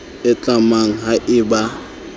e tlamang ha e ba